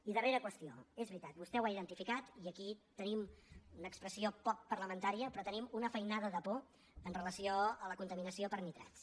i darrera qüestió és veritat vostè ho ha identificat i aquí tenim una expressió poc parlamentària però tenim una feinada de por amb relació a la contaminació per nitrats